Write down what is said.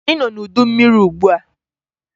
Anyị nọ n'udu mmiri ugbua.